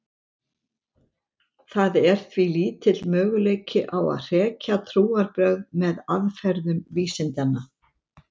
Það er því lítill möguleiki á að hrekja trúarbrögð með aðferðum vísindanna.